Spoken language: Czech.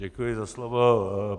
Děkuji za slovo.